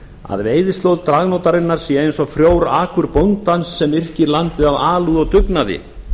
að veiðislóð dragnótarinnar sé eins og frjór akur bóndans sem yrkir landið af alúð og dugnaði